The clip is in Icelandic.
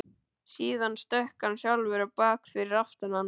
Síðan stökk hann sjálfur á bak fyrir aftan hann.